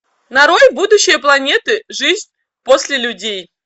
нарой будущее планеты жизнь после людей